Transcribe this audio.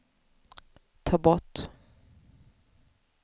ta bort